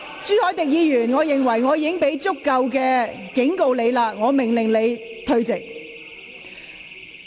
朱凱廸議員，由於我已給予你充分警告，我現在命令你退席。